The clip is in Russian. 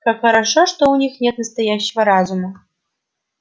как хорошо что у них нет настоящего разума